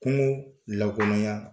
Kungo lankolonya.